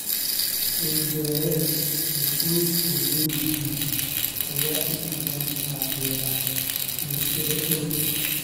Dhul-beereed ay qoysku leeyihiin ayaa inta badan taageera bulshada dhow.